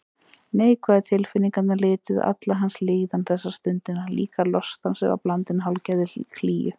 Neikvæðu tilfinningarnar lituðu alla hans líðan þessa stundina, líka lostann sem var blandinn hálfgerðri klígju.